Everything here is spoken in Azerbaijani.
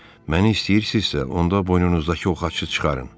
Məni istəyirsinizsə, onda boynunuzdakı o xaçı çıxarın.